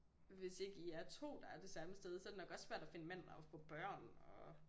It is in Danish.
Hvis ikke i er to der er det samme sted så det nok også svært at finde en mand og få børn og